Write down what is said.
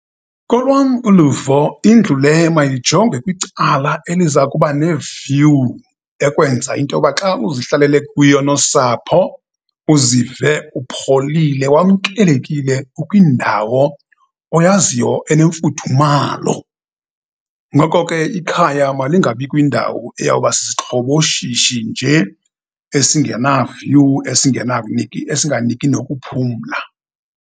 Kolwam uluvo, indlu le mayijonge kwicala eliza kuba ne-view, ekwenza into yoba xa uzihlalele kuyo nosapho, uzive upholile, wamkelekile ukwindawo oyaziyo enemfudumalo. Ngoko ke ikhaya malingabi kwindawo eyawuba sisixhoboshishi nje esingena-view, esinganiki nokuphumla.